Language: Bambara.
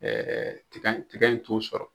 tika in tika in ton sɔrɔ